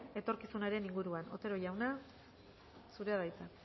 etorkizunaren inguruan otero jauna zurea da hitza